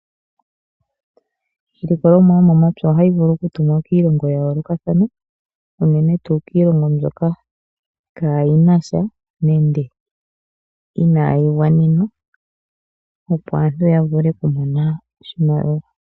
Iilikolomwa yomomapya ohayi vulu okutumwa kiilongo ya yoolokathana unene tuu kiilongo mbyoka kaayinasha nenge inayi gwanenwa opo aantu yavule okumona oshimaliwa.